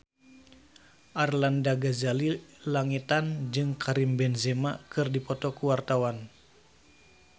Arlanda Ghazali Langitan jeung Karim Benzema keur dipoto ku wartawan